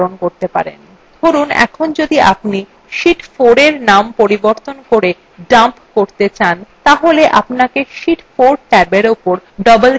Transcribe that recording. ধরুন এখন যদি আপনি sheet 4এর dump বদলে dump করতে চান তাহলে